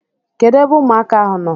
Kedụ ebe ụmụaka ahụ nọ?